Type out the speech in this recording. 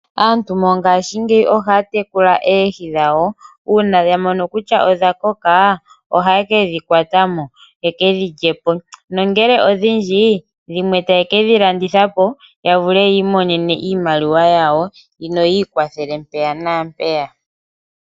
Aantu mongaashingeyi ohaya tekula oohi dhawo. Uuna yamono kutya odha koka ohaye kedhi kwatamo yekedhi lyepo nongele odhindji dhimwe taye kedhi landitha po yavule okwiimonena iimaliwa yawo noyiikwathele mpaka nampeya.